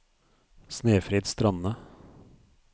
Snefrid Strande